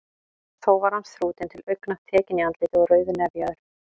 Þó var hann þrútinn til augna, tekinn í andliti og rauðnefjaður.